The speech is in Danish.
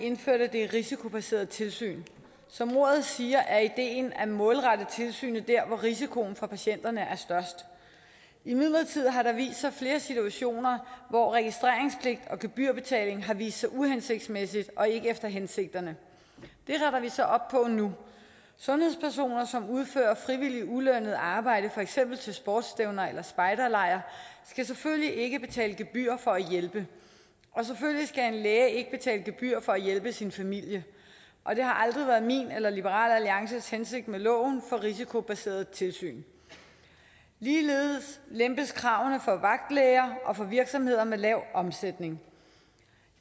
indførte det risikobaserede tilsyn som ordet siger er ideen at målrette tilsynet mod der hvor risikoen for patienterne er størst imidlertid har det vist sig flere situationer hvor registreringspligt og gebyrbetaling har vist sig uhensigtsmæssigt og ikke efter hensigterne det retter vi så op på nu sundhedspersoner som udfører frivilligt ulønnet arbejde for eksempel til sportsstævner eller på spejderlejre skal selvfølgelig ikke betale gebyr for at hjælpe og selvfølgelig skal en læge ikke betale gebyr for at hjælpe sin familie og det har aldrig været min eller liberal alliances hensigt med loven for risikobaseret tilsyn ligeledes lempes kravene for vagtlæger og for virksomheder med lav omsætning